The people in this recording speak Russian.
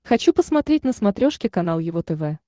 хочу посмотреть на смотрешке канал его тв